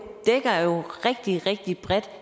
rigtig rigtig bredt